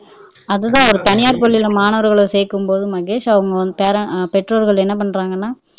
அதுதான் ஒரு தனியார் பள்ளியில மாணவர்களை சேர்க்கும்போது மகேஷ் அவங்க பேரன்ஸ் அஹ் பெற்றோர்கள் என்ன பண்றாங்கன்னா